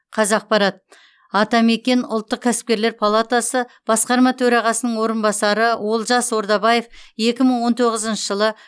қазақпарат атамекен ұлттық кәсіпкерлер палатасы басқарма төрағасының орынбасары олжас ордабаев екі мың он тоғызыншы жылы